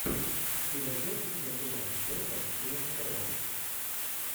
ты найдешь у себя кино с джейком джилленхолом